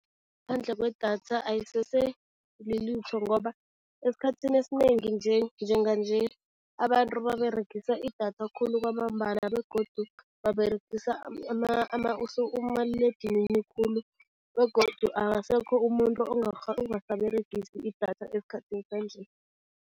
Ngaphandle kwedatha ayisese lilutho ngoba esikhathini esinengi nje, njenganje, abantu baberegisa idatha khulu kwamambala begodu baberegisa umaliledinini khulu begodu akasekho umuntu ongasaberegisi idatha esikhathini sanje.